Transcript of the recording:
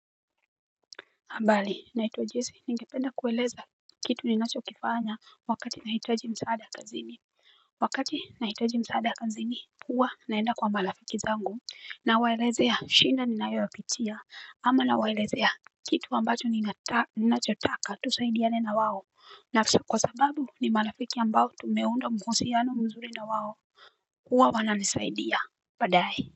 Mbali naito jesi ningependa kueleza kitu ninachokifanya wakati nahitaji msaada kazini Wakati naitaji msaada kazini huwa naenda kwa marafiki zangu Nawaelezea shinda ninayoyapitia ama na waelezea kitu ambacho ninachotaka tusaidiane na wao na kwa sababu ni marafiki ambao tumeunda mahusiano mzuri na waho huwa wananisaidia badae.